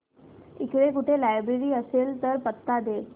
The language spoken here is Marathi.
इकडे कुठे लायब्रेरी असेल तर पत्ता दे